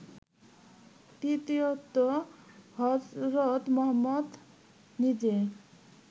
তৃতীয়ত হজরত মুহম্মদ নিজে